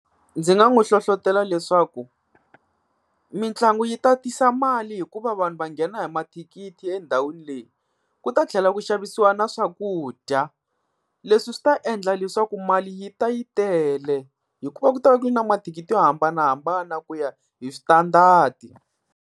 Ndzi nga n'wi hlohlotelo leswaku mitlangu yi ta tisa mali hikuva vanhu va nghena hi mathikithi endhawini leyi. Ku ta tlhela ku xavisiwa na swakudya leswi swi ta endla leswaku mali yi ta yi tele hikuva ku ta va ku ri na mathikiti yo hambanahambana ku ya hi switandadi.